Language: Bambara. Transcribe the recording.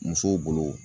Musow bolo